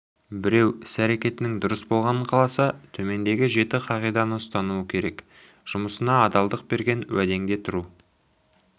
біреу іс-әрекетінің дұрыс болғанын қаласа төмендегі жеті қағиданы ұстануы керек жұмысыңа адалдық берген уәдеңде тұру